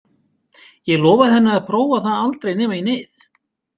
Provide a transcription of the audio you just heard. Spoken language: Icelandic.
Ég lofaði henni að prófa það aldrei nema í neyð.